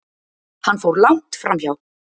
Hann fór langt framhjá!